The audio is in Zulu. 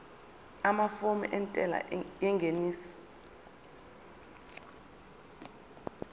amafomu entela yengeniso